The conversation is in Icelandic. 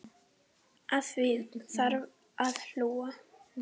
Að því þarf að hlúa.